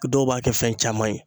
Dɔw b'a kɛ fɛn caman ye.